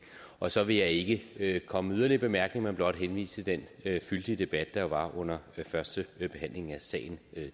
og så vil jeg ikke komme med yderligere bemærkninger men blot henvise til den fyldige debat der jo var under førstebehandlingen af sagen